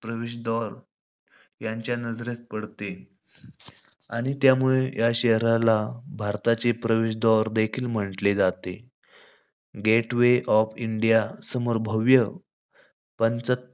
प्रवेशव्दार त्यांच्या नजरेस पडते. आणि त्यामुळे या शहराला भारताचे प्रवेशव्दार देखील म्हंटले जाते. गेट वे ऑफ इंडिया समोर भव्य पंच,